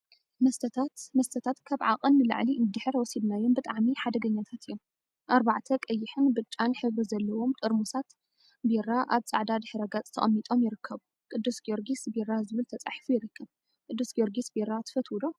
መስተታት መስተታት ካብ ዓቀን ንላዕሊ እንድሕር ወሲድናዮም ብጣዕሚ ሓደገኛታት እዮም፡፡ አርባዕተ ቀይሕን ብጫን ሕብሪ ዘለዎም ጠርሙዛት ቢራ አብ ፃዕዳ ድሕረ ገፅ ተቀሚጦም ይርከቡ፡፡ ቅዱስ ጊዮርጊስ ቢራ ዝብል ተፃሒፉ ይርከብ፡፡ ቅዱስ ጊዮርጊሰ ቢራ ትፈትው ዶ?